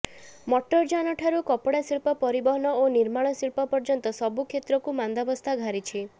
ମଟରଯାନ ଠାରୁ କପଡା ଶିଳ୍ପ ପରିବହନ ଓ ନିର୍ମାଣ ଶିଳ୍ପ ପର୍ଯ୍ୟନ୍ତ ସବୁ କ୍ଷେତ୍ରକୁ ମାନ୍ଦାବସ୍ଥା ଘାରିଛି